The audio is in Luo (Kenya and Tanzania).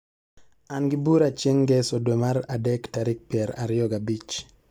an gi bura chieng ngeso dwe mar adek tarik pier ariyo gabich